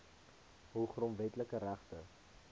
hul grondwetlike regte